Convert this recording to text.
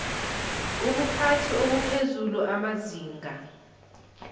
ubuphathi obuphezulu amazinga